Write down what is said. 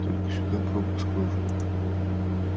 только сюда пропуск нужен